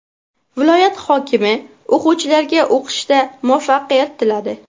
Viloyat hokimi o‘quvchilarga o‘qishda muvaffaqiyat tiladi.